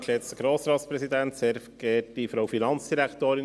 Kommissionspräsident der FiKo.